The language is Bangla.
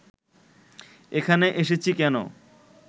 এখানে এসেছি কেন